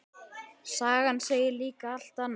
Sagan segir líka allt annað.